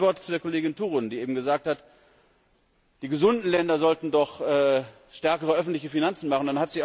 Dann noch ein Wort zu Kollegin Turunen, die eben gesagt hat, die gesunden Länder sollten doch stärkere öffentliche Finanzen machen.